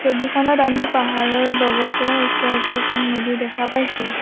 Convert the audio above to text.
ছবিখনত আমি পাহাৰৰ লগতে ওচৰতে এখন নদী দেখা পাইছোঁ।